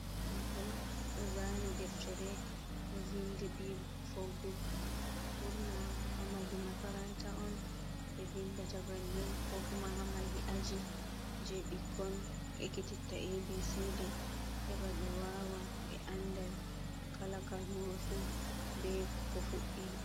Mahol ɗo zani deftere ɗo vindi bi fo buk, burna hamahi makaranta on ɓe vindata bannin ko kuma hamahi aji je bikkon ekititta abcd heba ɓe wawa ɓe anda kala kalmol fu ɓe ko fuddiri.